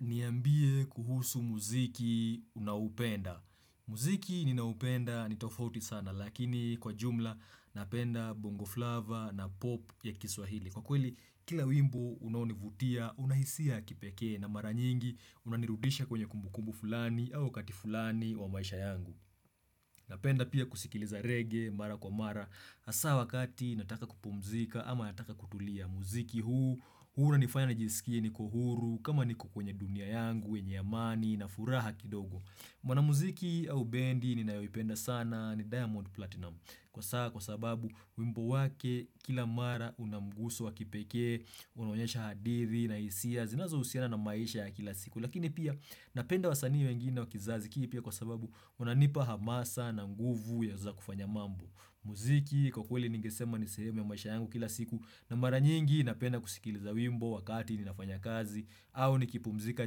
Niambie kuhusu muziki unahupenda. Muziki ninaupenda ni tofauti sana lakini kwa jumla napenda bongoflava na pop ya kiswahili. Kwa kweli kila wimbo unaonivutia unahisia kipekee na mara nyingi unanirudisha kwenye kumbukumbu fulani au kati fulani wa maisha yangu. Napenda pia kusikiliza reggae mara kwa mara hasa wakati nataka kupumzika ama nataka kutulia. Muziki huu, huwa una nifanya na jisikie niko kuhuru, kama niko kwenye dunia yangu, wenye amani, na furaha kidogo. Mwana muziki au bendi ni nayoipenda sana ni Diamond Platinum. Kwa saa, kwa sababu, wimbo wake, kila mara unamgusu wa kipekee, unaonyesha hadithi na hisia, zinazo husiana na maisha ya kila siku. Lakini pia, napenda wasanii wengine wakizazi kipya pia kwa sababu, unanipa hamasa na mguvu ya za kufanya mambo. Muziki kwa kweli nigesema nisehemu ya maisha yangu kila siku na mara nyingi napenda kusikiliza wimbo wakati ninafanya kazi au nikipumzika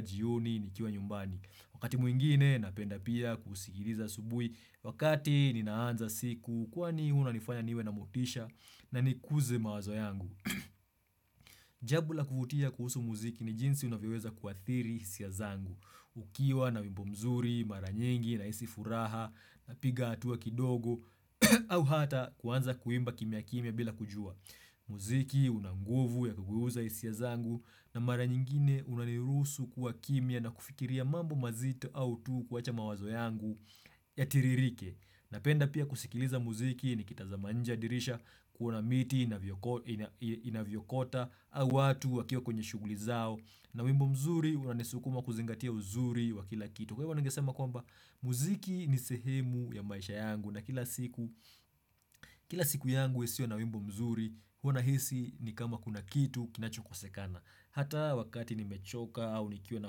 jioni nikiwa nyumbani Wakati mwingine napenda pia kusikiliza asubuhi wakati ninaanza siku kwani huna nifanya niwe na motisha na nikuze mawazo yangu Jambo la kuvutia kuhusu muziki ni jinsi unavyoweza kuathiri hisia zangu ukiwa na wimbo mzuri mara nyingi nahisi furaha na piga hatuwa kidogo au hata kuanza kuimba kimya kimya bila kujua muziki unanguvu ya kuguza hisia zangu na mara nyingine unanirusu kuwa kimya na kufikiria mambo mazito au tu kwa cha mawazo yangu ya tiririke napenda pia kusikiliza muziki nikitaza nje dirisha kuona miti inavyokota Awatu wakio kwenye shuguli zao na wimbo mzuri uianesukuma kuzingatia uzuri wa kila kitu Kwa hivyo nangesema kwamba Muziki ni sehemu ya maisha yangu na kila siku Kila siku yangu yasio na wimbo mzuri huwa nahisi ni kama kuna kitu kinachukosekana Hata wakati ni mechoka au nikio na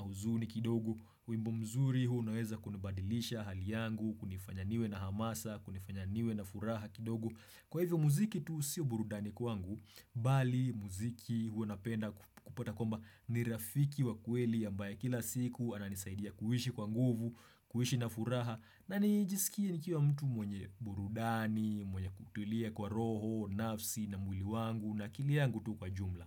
huzuni kidogo wimbo mzuri unaweza kunibadilisha hali yangu Kunifanyaniwe na hamasa, kunifanyaniwe na furaha kidogo Kwa hivyo muziki tu sio burudani kwangu Bali, muziki, hu napenda kupata kwamba nirafiki wa kweli ambaye kila siku anani saidia kuhishi kwa nguvu, kuhishi na furaha na nijisikia nikia wa mtu mwenye burudani, mwenye kutulia kwa roho, nafsi na mwili wangu na akiliangu tu kwa jumla.